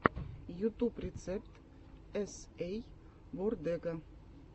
ютуб рецепт эс эй вордега